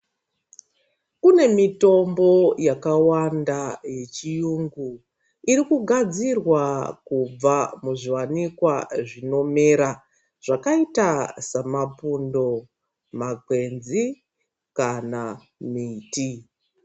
Kune mitombo yakawanda yechirungu iri kugadzirwa kubva muzviwanikwa zvinomera zvakaita samapundo , makwenzi kana miti .